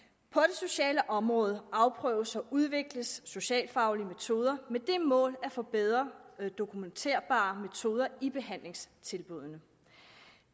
sociale område afprøves og udvikles socialfaglige metoder med det mål at få bedre dokumenterbare metoder i behandlingstilbuddene